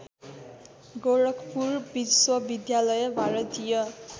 गोरखपुर विश्वविद्यालय भारतीय